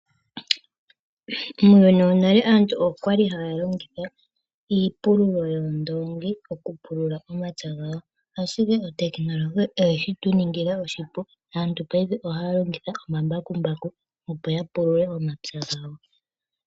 Muuyuni wonale aantu okwali haya longitha iipululo yoondoongi okupulula omapya gawo, ashike otekinolohi oye shi tu ningila oshipu. Aantu paife ohaya longitha omabakumbaku, opo ya pulule omapya gawo.